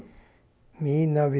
mil nove